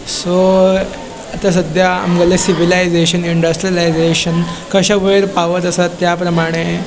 सो आता सद्या आमगेले सिव्हिलायजेशन इंडस्ट्रीलायजेशन कशे वयर पावत आसा त्या प्रमाणे --